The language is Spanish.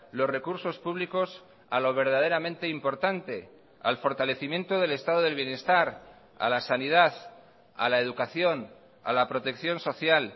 los recursos públicos a lo verdaderamente importante al fortalecimiento del estado del bienestar a la sanidad a la educación a la protección social